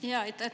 Aitäh!